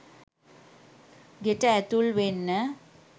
ගෙට ඇතුල් වෙන්න